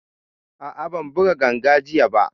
A'a, ban buga ganga jiya ba